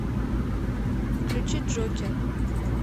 включи джокер